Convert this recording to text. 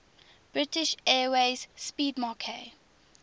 british airways 'speedmarque